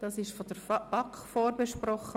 Das Geschäft wurde von der BaK vorbesprochen.